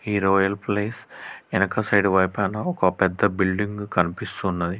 ఇది ఓ royal place ఎనక సైడ్ వైపాన ఒక పెద్ద బిల్డింగ్ కనిపిస్తున్నది.